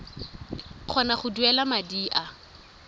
kgona go duela madi a